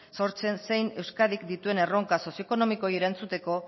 sortzen zein euskadik dituen erronka sozio ekonomikoei erantzuteko